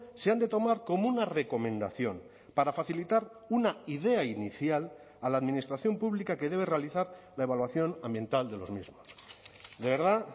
se han de tomar como una recomendación para facilitar una idea inicial a la administración pública que debe realizar la evaluación ambiental de los mismos de verdad